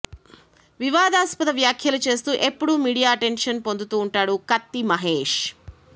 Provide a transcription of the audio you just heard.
వివాదాస్పద వ్యాఖ్యలు చేస్తూ ఎప్పుడు మీడియా అటెంక్షన్ పొందుతూ ఉంటాడు కత్తి మహేష్